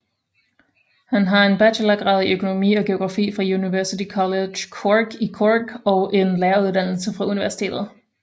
Han har en bachelorgrad i økonomi og geografi fra University College Cork i Cork og en læreruddannelse fra universitet